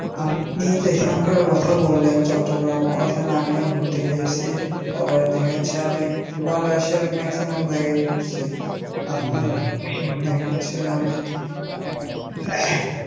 আপনি যেখান কার কথা বললেন চট্টগ্রাম ঐখানে আমিও ঘুরতে গিয়েসি তারপরে দেখা যাচ্ছে আমি বাংলাদেশের maximum জায়গায় ঘুরসি তারপরে দেখা যাচ্ছে আমি.